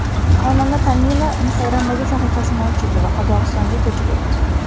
Xonanda Tamila Instagram’dagi sahifasini o‘chirdi va Qozog‘istonga ko‘chib o‘tdi .